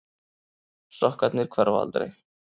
Sokkarnir hverfa aldrei.